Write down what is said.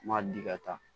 N m'a di ka taa